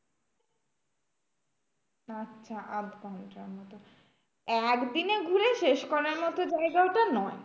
আচ্ছা আধঘন্টা মতো, একদিনে ঘুরে শেষ করার মতো জায়গা ওটা নয়।